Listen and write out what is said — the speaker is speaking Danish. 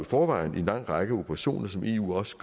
forvejen i en lang række operationer som eu også